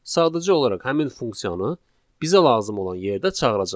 Sadəcə olaraq həmin funksiyanı bizə lazım olan yerdə çağıracağıq.